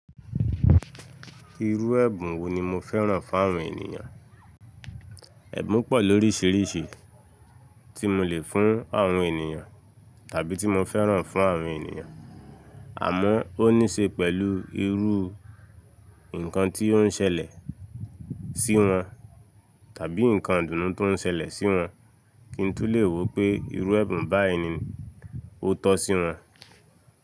Irú ẹ̀bùn wo ni mo fẹ́ràn fún àwọn ènìyàn? Ẹ̀bùn pọ̀ lóríṣiríṣi tí mo lè fún àwọn ènìyàn tàbí tí mo fẹ́ràn fún àwọn ènìyàn, àmọ́ ó níṣe pẹ̀lú irú nǹkan tí ó ń ṣẹlẹ̀ sí wọn tàbí nǹkan ìdùnnú tó ń ṣẹlẹ̀ sí wọn kí n tú lè wó pé irú ẹ̀bùn báyìí ni ó tọ́ sí wọn.